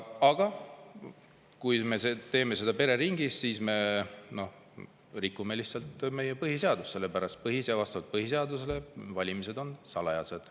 Aga kui me teeme seda pereringis, siis me rikume lihtsalt põhiseadust, sellepärast et vastavalt põhiseadusele on valimised salajased.